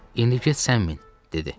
İndi get sən min, dedi.